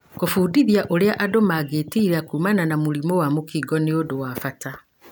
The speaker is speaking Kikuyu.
Kũbundithia ũrĩa andũ mangĩgitĩra kumana na mũrimũ wa mũkingo nĩ undu wa bata.